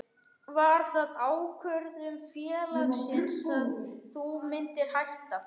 Var það ákvörðun félagsins að þú myndir hætta?